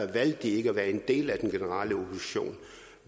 valgte de ikke at være en del af den generelle opposition